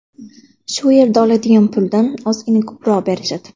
Shu yerda oladigan puldan ozgina ko‘proq berishadi.